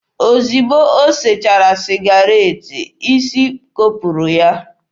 Ozugbo o sechara sịgaret, isi kopụrụ ya.